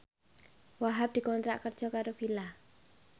Wahhab dikontrak kerja karo Fila